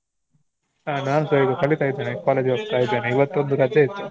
ಆ ನಾನ್ ಸ ಈಗ ಕಲಿತ ಇದ್ದೇನೆ. college ಗ್ ಹೋಗ್ತಾ ಇದ್ದೇನೆ. ಇವತ್ತೊಂದು ರಜೆ ಇತ್ತು.